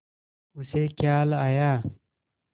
उसे ख़याल आया